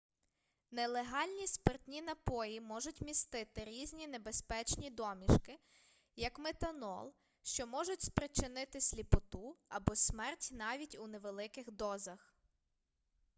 нелегальні спиртні напої можуть містити різні небезпечні домішки як метанол що можуть спричинити сліпоту або смерть навіть у невеликих дозах